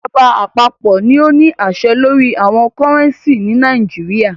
Ìjọba àpapọ̀ ní o ní àṣẹ lórí owo cúrẹ́ncì ni Nàìjíríà.